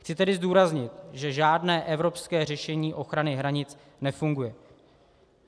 Chci tedy zdůraznit, že žádné evropské řešení ochrany hranic nefunguje.